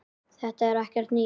Þetta er ekkert nýtt.